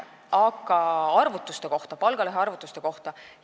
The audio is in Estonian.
Aga nüüd palgalõhe arvutuste kohta.